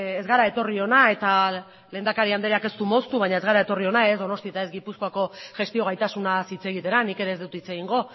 ez gara etorri hona eta lehendakari andreak ez du moztu baina ez gara etorri hona ez donostia eta ez gipuzkoako gestio gaitasunaz hitz egitera nik ere ez dut hitz egingo